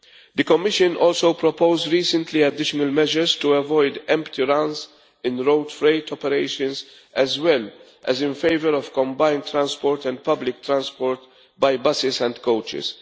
The Commission also proposed recently additional measures to avoid empty runs in road freight operations, as well as in favour of combined transport and public transport by buses and coaches.